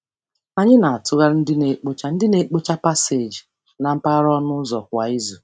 Anyị na-atụgharị ndị na-ekpocha ndị na-ekpocha paseeji na mpaghara ọnụụzọ kwa izu.